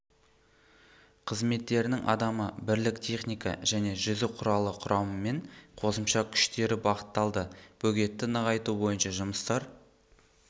қызметтерінің адамы бірлік техника және жүзу құралы құрамымен қосымша күштері бағытталды бөгетті нығайту бойынша жұмыстар